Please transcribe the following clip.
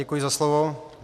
Děkuji za slovo.